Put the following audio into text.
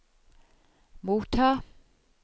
motta